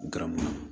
Garamu